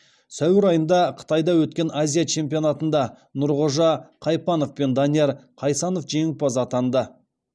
сәуір айында қытайда өткен азия чемпионатында нұрғожа қайпанов пен данияр қайсанов жеңімпаз атанды